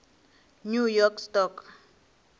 new york stock